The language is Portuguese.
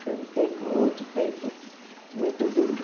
Foi um tempo outro tempo muito duro.